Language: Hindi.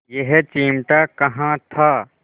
यह चिमटा कहाँ था